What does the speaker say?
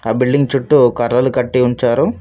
ఆ బిల్డింగ్ చుట్టూ కర్రలు కట్టి ఉంచారు.